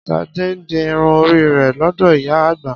Ṣadé ń di irun orí rẹ̀ lọ́dọ̀ ìyá àgbà